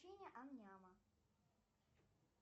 ам няма